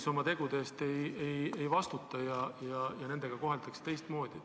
... kes oma tegude eest ei vastuta, neid koheldakse teistmoodi.